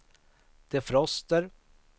defroster